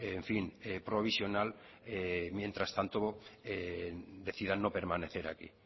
en fin provisional mientras tanto decidan no permanecer aquí